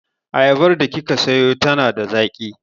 Ayabar da kika sayo yana da zaƙi.